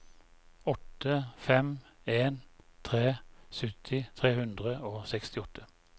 åtte fem en tre sytti tre hundre og sekstiåtte